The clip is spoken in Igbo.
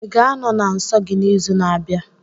Ị ga-anọ na nsọ gị n'izu na-abịa?